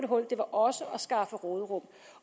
hul det var også at skaffe råderum